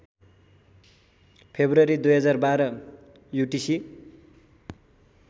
February २०१२ UTC